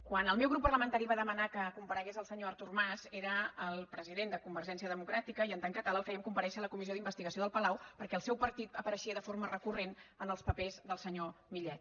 quan el meu grup parlamentari va demanar que comparegués el senyor artur mas era el president de convergència democràtica i en tant que tal el fèiem comparèixer a la comissió d’investigació del palau perquè el seu partit apareixia de forma recurrent en els papers del senyor millet